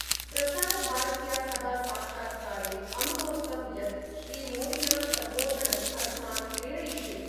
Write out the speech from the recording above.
प्रसारभारत्या सह साक्षात्कारे अमुनोक्तं यत् श्रीमोदिन सम्बोधनम् अस्मान् प्रेरयिष्यति।